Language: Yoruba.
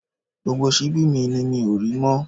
Gbogbo síbi mi ni mi ò rí mọ́